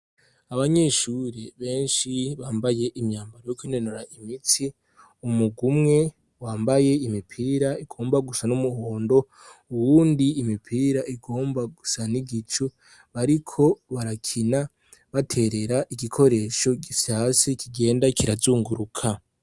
Abanyeshuri benshi bambaye imyambaro yo kwinonora imitsi umurwi umwe wambaye imipira igomba gusa n'umuhondo, uwundi imipira igomba gusa n'igicu. Bariko barakina baterera igikoresho gifyase kigenda kirazunguruka.